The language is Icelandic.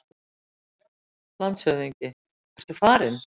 LANDSHÖFÐINGI: Ertu farinn?